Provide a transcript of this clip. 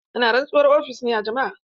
Ana rantsuwar ofis ne a jama'a.